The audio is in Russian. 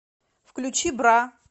включи бра